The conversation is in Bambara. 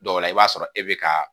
Dɔw la i b'a sɔrɔ e bɛ ka